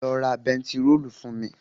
Lọ ra bẹntiróòlù wá fún mi.